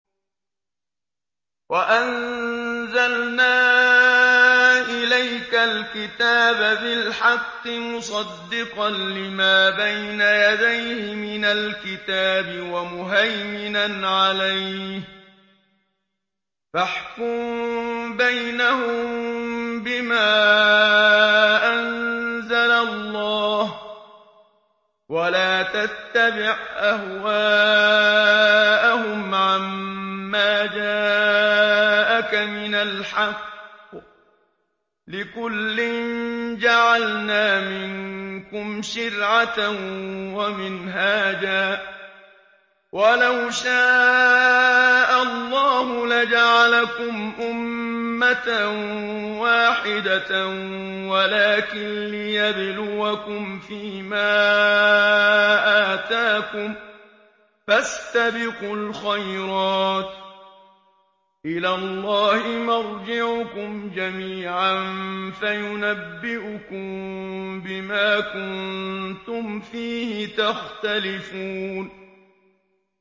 وَأَنزَلْنَا إِلَيْكَ الْكِتَابَ بِالْحَقِّ مُصَدِّقًا لِّمَا بَيْنَ يَدَيْهِ مِنَ الْكِتَابِ وَمُهَيْمِنًا عَلَيْهِ ۖ فَاحْكُم بَيْنَهُم بِمَا أَنزَلَ اللَّهُ ۖ وَلَا تَتَّبِعْ أَهْوَاءَهُمْ عَمَّا جَاءَكَ مِنَ الْحَقِّ ۚ لِكُلٍّ جَعَلْنَا مِنكُمْ شِرْعَةً وَمِنْهَاجًا ۚ وَلَوْ شَاءَ اللَّهُ لَجَعَلَكُمْ أُمَّةً وَاحِدَةً وَلَٰكِن لِّيَبْلُوَكُمْ فِي مَا آتَاكُمْ ۖ فَاسْتَبِقُوا الْخَيْرَاتِ ۚ إِلَى اللَّهِ مَرْجِعُكُمْ جَمِيعًا فَيُنَبِّئُكُم بِمَا كُنتُمْ فِيهِ تَخْتَلِفُونَ